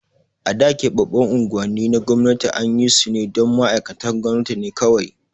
A da, keɓaɓɓun unguwanni na gwamnati an yi su ne don ma'aikatan gwamnati ne kawai.